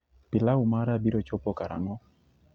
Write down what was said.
pilau mara biro chopo karang'o